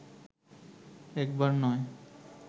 একবার নয়